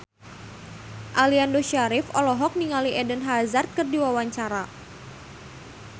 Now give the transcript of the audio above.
Aliando Syarif olohok ningali Eden Hazard keur diwawancara